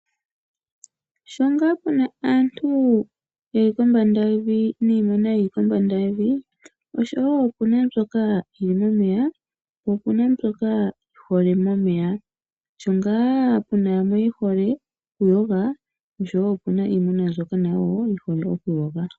Shongaa puna aantu ye li kombanda yevi, minimuna yi li , kombanda yevi osho woo mbyoka yomomeya yi hole momeya. Shongaa ou na aantu ye hole oku yoga osho woo ou na iinamwenyo yi hole oku yoga.